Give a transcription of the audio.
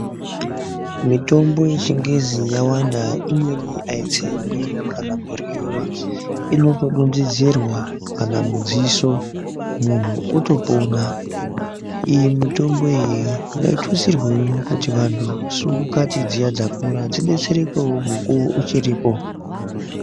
Mitombo yechingezi yawanda imweni aitsengwi kana kuryiwa inotodonhedzerwa kana mudziso muntu otopona iyo mitombo iyi ngaitutsirwe kuti vanhu svumbukati dziya dzakura dzibetsrewo mukowo uchiripo .